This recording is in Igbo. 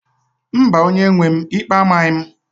Mba, onye-nwe m, ikpe amaghị m